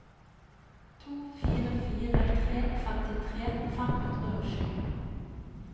to fire fire tre femtitre fem hundre og sju